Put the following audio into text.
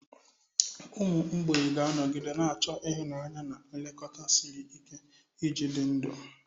Ụmụ mgbei ga-anọgide na-achọ ịhụnanya na nlekọta siri ike iji dị ndụ.